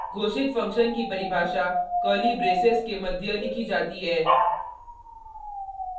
घोषित फंक्शन की परिभाषा कर्ली ब्रेसेस के मध्य लिखी जाती है